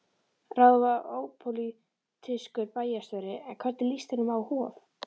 Ráðinn var ópólitískur bæjarstjóri, en hvernig líst honum á Hof?